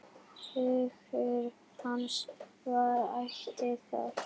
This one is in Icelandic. Hugur hans var ætíð þar.